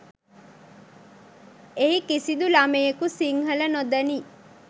එහි කිසිදු ළමයෙකු සිංහල නොදනී